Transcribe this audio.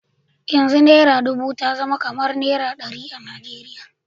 Yanzu naira dubu ta zama kamar naira ɗari a Najeriya.